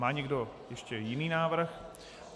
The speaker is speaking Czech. Má někdo ještě jiný návrh?